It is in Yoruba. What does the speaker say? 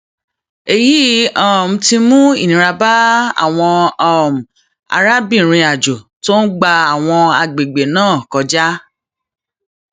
èyí um ti mú ìnira bá àwọn um arábìnrinàjò tó ń gba àwọn agbègbè náà kọjá